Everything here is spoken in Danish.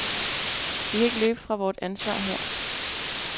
Vi kan ikke løbe fra vort ansvar her.